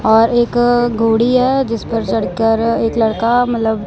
और एक अ घोड़ी है जिस पर चढ़कर एक लड़का मतलब--